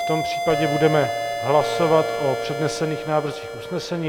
V tom případě budeme hlasovat o přednesených návrzích usnesení.